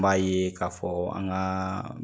N b'a ye k'a fɔ an ka